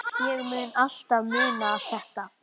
Ég mun alltaf muna þetta.